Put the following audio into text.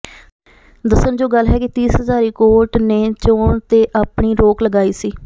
ਦੱਸਣਯੋਗ ਗੱਲ ਹੈ ਕਿ ਤੀਸ ਹਜ਼ਾਕੀ ਕੋਰਟ ਨੇ ਚੋਣ ਤੇ ਆਪਣੀ ਰੋਕ ਲਗਾਈ ਸੀ